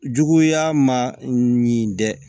Juguya ma ɲi dɛ